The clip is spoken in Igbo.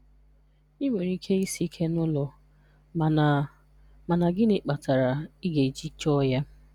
I nwere ike isi ike n'ụlọ mana mana gịnị kpatara ị ga-eji chọọ ya?